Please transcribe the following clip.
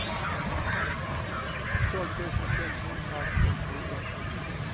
tolv tusen sexhundratrettioett